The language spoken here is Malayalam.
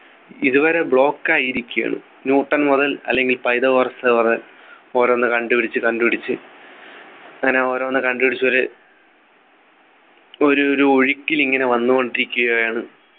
ഇതുവരെ block ആയിരിക്കുകയാണ് ന്യൂട്ടൺ മുതൽ അല്ലെങ്കിൽ പൈതഗോറസ് വരെ ഓരോന്ന് കണ്ടുപിടിച്ച് കണ്ടുപിടിച്ച് അങ്ങനെ ഓരോന്ന് കണ്ടുപിടിച്ചു ഒരു ഒരു ഒരു ഒഴുക്കിൽ ഇങ്ങനെ വന്നുകൊണ്ടിരിക്കുകയാണ്